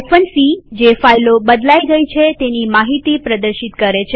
c160 જે ફાઈલો બદલાઈ ગયી છે તેની માહિતી પ્રદર્શિત કરે છે